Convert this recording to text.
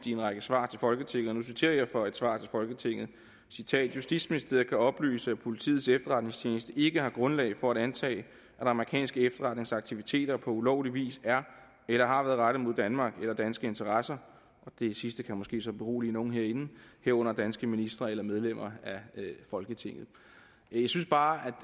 i en række svar til folketinget og nu citerer jeg fra et svar til folketinget justitsministeriet kan oplyse at politiets efterretningstjeneste ikke har grundlag for at antage at amerikanske efterretningsaktiviteter på ulovlig vis er eller har været rettet mod danmark eller danske interesser og det sidste kan måske så berolige nogle herinde herunder danske ministre eller medlemmer af folketinget jeg synes bare